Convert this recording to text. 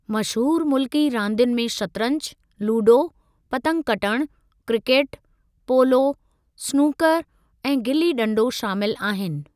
मशहूरु मुल्की रांदियुनि में शतरंज, लूडो, पतंग कटण, क्रिकेट, पोलो, स्नूकर ऐं गिली ॾंडो शामिलु आहिनि।